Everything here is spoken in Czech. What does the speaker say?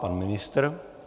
Pan ministr.